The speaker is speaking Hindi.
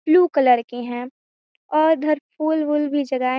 ब्लू कलर के हैं और घर पूल-उल भी जगाए--